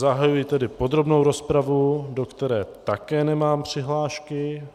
Zahajuji tedy podrobnou rozpravu, do které také nemám přihlášky.